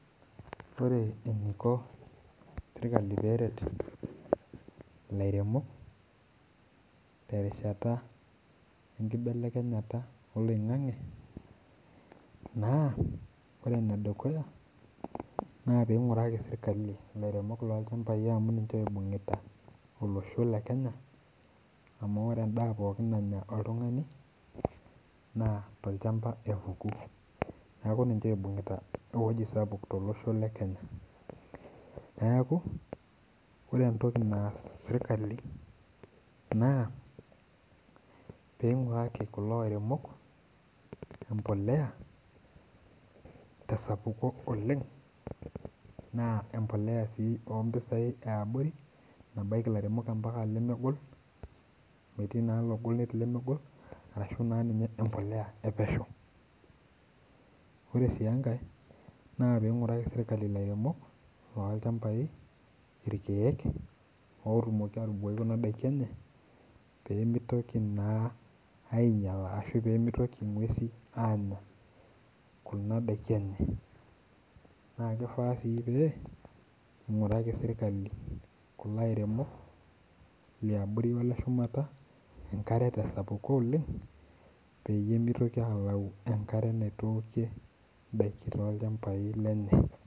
Ore eniko sirkali peret ilairemok terishata enkibelekenyata oloing'ang'e, naa ore enedukuya, na ping'uraki sirkali ilairemok lolchambai amu ninche oibung'ita olosho le Kenya, amu ore endaa pookin nanya oltung'ani, naa tolchamba epuku. Neeku ninche oibung'ita ewoji sapuk tolosho le Kenya. Neeku, ore entoki naas sirkali naa, ping'uraki kulo airemok, empolea tesapuko oleng, naa empolea si ompisai eabori nabaiki lairemok ampaka lemegol, amu etii naa logol netii lemegol, arashu naa ninye empolea epesho. Ore si enkae, na ping'uraki sirkali ilairemok lolchambai irkeek otumoki atubukoki kuna daiki enye, pemitoki naa ainyala ashu pemitoki ng'uesin anya kuna daiki enye. Na kifaa si pee, ing'uraki sirkali kulo airemok liabori ole shumata, enkare tesapuko oleng, peyie mitoki alau enkare naitookie idaiki tolchambai lenye.